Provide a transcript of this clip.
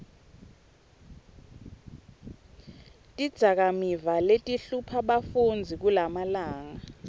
tidzakamiva letihlupha bafundzi kulamalanga